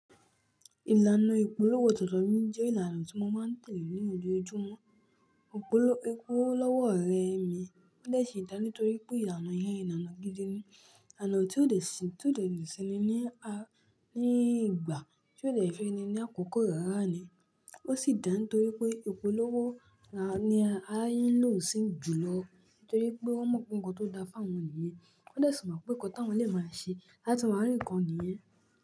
Ìlànà ìpolówó tuntun mi jẹ́ ìlànà tí mo máa ń tẹ̀lé ní ojú ojúmọ́. Òpóló é kú lọ́wọ́ ọ̀rẹ́ mi, ó dà síi dá nítorí pé ìlànà yẹn ìlànà gidi ni, ìlànà tí ó lè ṣi-- tí ó lè ṣeni ní a-- ní ìgbà, tí ó lè fẹ́ni ní àkókò rárá ni. Ó sì dá nítorí pé ìpolówó la ní aáyán ń lò ó sí jùlọ nítorí pé wọ́n mọ̀ pé ohun tó da fún wọn nìyẹn. Wọ́n dà sí mọ̀ pé nǹkan táwọn lè máa ṣe láti máa rí nǹkan nìyẹn.